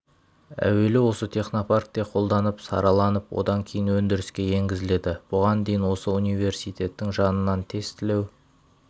әуелі осы технопаркте қолданып сараланып одан кейін өндіріске енгізіледі бұған дейін осы университеттің жанынан тестілеу